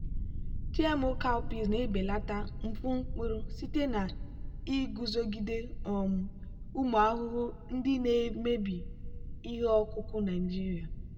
gmo cowpeas na-ebelata mfu mkpụrụ site na iguzogide um ụmụ ahụhụ ndị na-emebi ihe ọkụkụ naijiria.